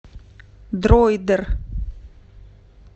дройдер